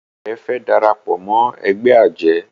Ìyá rẹ fe darapọ̀ mọ ègbé ajé